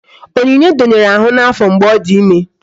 Onyinye donyere ahụ n'afọ mgbe ọ dị ime